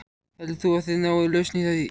Heldur þú að þið náið lausn í því?